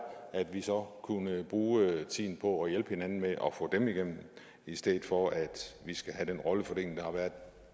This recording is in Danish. at vi så kunne bruge tiden på at hjælpe hinanden med at få dem igennem i stedet for at vi skal have den rollefordeling der har været